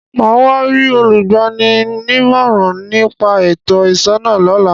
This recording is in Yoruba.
Màá wá rí olúgbani nímọ̀ràn ní pa ètò ìṣúná lọ́la.